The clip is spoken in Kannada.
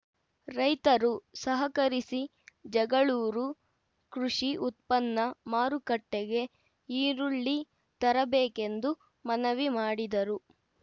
ರೈತರು ಸಹಕರಿಸಿ ಜಗಳೂರು ಕೃಷಿ ಉತ್ಪನ್ನ ಮಾರುಕಟ್ಟೆಗೆ ಈರುಳ್ಳಿ ತರಬೇಕೆಂದು ಮನವಿ ಮಾಡಿದರು